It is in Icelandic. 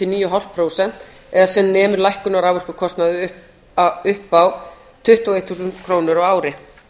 níu komma fimm prósent eða sem nemur lækkun á raforkukostnaði upp á tuttugu og eitt þúsund krónur á ári